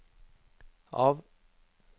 av